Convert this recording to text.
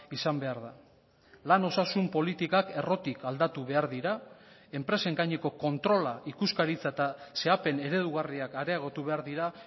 izan behar da lan osasun politikak errotik aldatu behar dira enpresen gaineko kontrola ikuskaritza eta xedapen eredugarriak areagotu behar dira